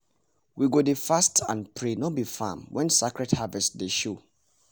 we go dey fast and pray no be farm when sacred harvest day show